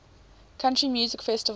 country music festival